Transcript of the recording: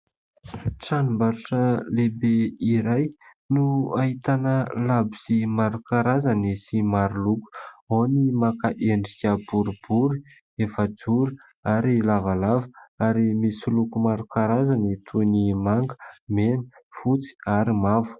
Tranombarotra lehibe iray no ahitana labozia maro karazana sy maro loko ; ao ny maka endrika boribory efajoro ary lavalava ary misy loko maro karazany toy ny manga, mena, fotsy ary mavo.